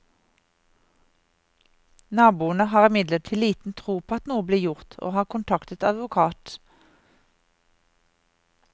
Naboene har imidlertid liten tro på at noe blir gjort, og har kontaktet advokat.